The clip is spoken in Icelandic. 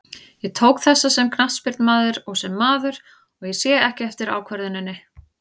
Ég tók þessa sem knattspyrnumaður og sem maður, og ég sé ekki eftir ákvörðuninni.